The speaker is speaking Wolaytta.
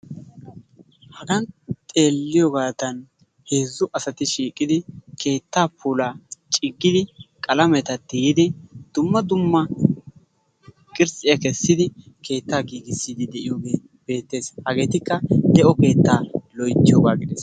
Hagan xeeliyoogadan heezzu asati shiiqidi keetta puulaa ciggidi qalamata tiyyidi dumma dumma qiritsiya kessidi keettaa giigissidi de'iyooge beettees. hagetikka de'o keetta loyttiyogaa gidees.